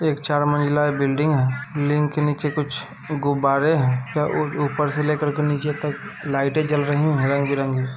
एक चार मंजिला बिल्डिंग है। बिल्डिंग के नीचे कुछ गुब्बारे हैं ऊपर से लेकर के नीचे तक लाइटें जल रही हैं रंग बिरंगी --